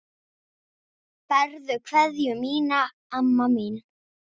Berðu kveðju mína, amma mín.